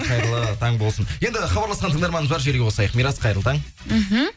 қайырлы таң болсын енді хабарласқан тыңдарманымыз бар желіге қосайық мирас қайырлы таң мхм